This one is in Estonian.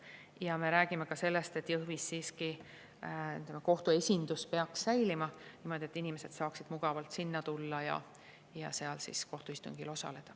Ja me räägime ka sellest, et Jõhvis siiski kohtu esindus peaks säilima, nii et inimesed saaksid mugavalt sinna tulla ja seal kohtuistungil osaleda.